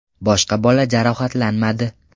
Boshqa bola jarohatlanmadi.